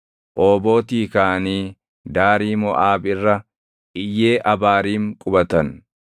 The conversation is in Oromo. Oobootii kaʼanii daarii Moʼaab irra Iyyee Abaariim qubatan.